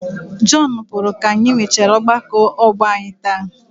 Jọnu pụrụ ka anyị nwechaara ọgbakọ ọgbọ anyị taa.